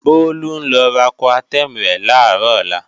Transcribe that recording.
Bólú ń lọ ra Coartem rẹ̀ làárò ọlá